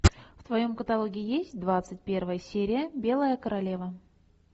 в твоем каталоге есть двадцать первая серия белая королева